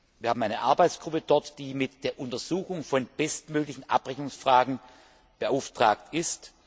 Wir haben eine Arbeitsgruppe dort, die mit der Untersuchung von bestmöglichen Abrechnungsfragen beauftragt ist.